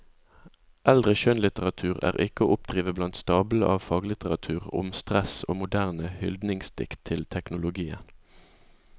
Eldre skjønnlitteratur er ikke å oppdrive blant stablene av faglitteratur om stress og moderne hyldningsdikt til teknologien.